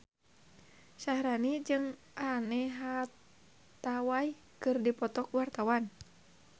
Syaharani jeung Anne Hathaway keur dipoto ku wartawan